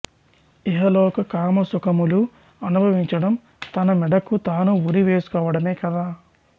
ఇహలోక కామ సుఖములు అనుభవించడం తన మెడకు తాను ఉరి వేసుకోవడమే కదా